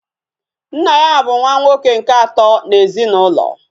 Nna ya bu nwa nwoke nke ato na ezinaulo